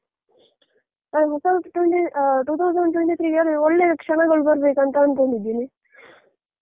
ಹ ಹೊಸ ವರ್ಷ ಅಂದ್ರೆ ಹ two thousand twenty three ಗೆ ಎಲ್ಲ ಒಳ್ಳೆಯ ಕ್ಷಣಗಳು ಬರ್ಬೇಕಂತ ಅಂದ್ಕೊಂಡಿದ್ದೀನಿ